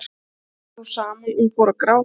En allt í einu féll hún saman og fór að gráta.